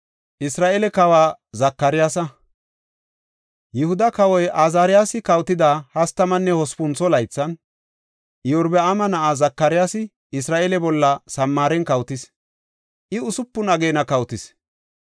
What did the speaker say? Yihuda kawoy Azaariyasi kawotida hastamanne hospuntho laythan, Iyorbaama na7ay Zakaryaasi Isra7eele bolla Samaaren kawotis; I usupun ageena kawotis.